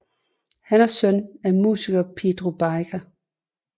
Han er søn af musikeren Pedro Biker